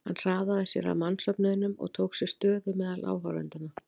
Hann hraðaði sér að mannsöfnuðinum og tók sér stöðu meðal áhorfendanna.